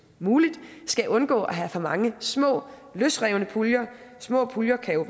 muligt skal undgå at have for mange små løsrevne puljer små puljer kan jo